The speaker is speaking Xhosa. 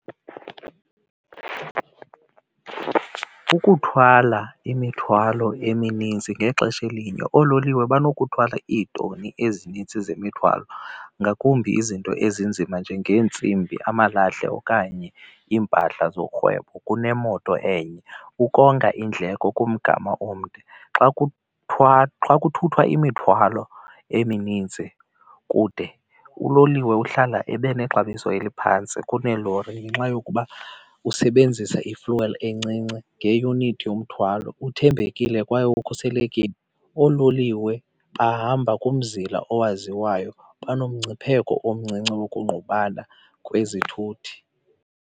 Ukuthwala imithwalo eminintsi ngexesha elinye oololiwe banokuluthwala iitoni ezinintsi zemithwalo ngakumbi izinto ezinzima njengeentsimbi, amalahle okanye impahla zorhwebo kunemoto enye ukonga iindleko kumgama omde. Xa xa kuthuthwa imithwalo eminintsi kude uloliwe uhlala ebe nexabiso eliphantsi kuneelori ngenxa yokuba usebenzisa i-fuel encinci ngeunithi yomthwalo, uthembekile kwaye ukhuselekile. Oololiwe bahamba kumzila owaziwayo banongcipheko omncinci wokungqubana kwezithuthi.